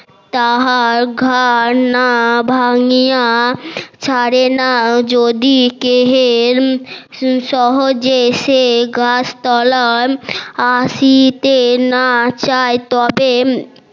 তাহার ঘার না ভাঙ্গিয়া ছাড়ে না যদি সহজে সে গাছতলায় আশিতে না চায় তবে